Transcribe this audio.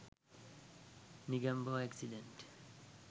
negombo accident